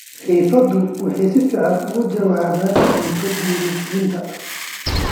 Heifadu waxay si fiican uga jawaabaan cunto dheellitiran.